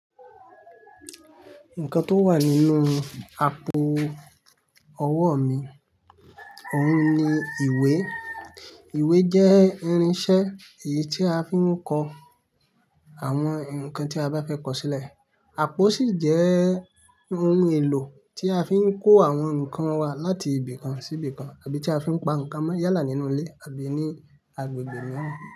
Nǹkan tó wà nínú àpò ọwọ́ mi, òun ni ìwé. Ìwé jẹ́ irinṣẹ́ èyí tí a fi ń kọ àwọn ǹkan tí a bá fẹ́ kọ̀ sílẹ̀. Àpò sì jẹ́ ohun èlò tí a fi ń kó àwọn ǹkan wa láti ibìkan sí ibìkan àbí tí a fi ń pa ǹkan mọ́ yálà nínú ilé àbí ní agbègbè mìíràn.